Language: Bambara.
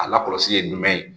A lakɔlɔsi ye jumɛn ye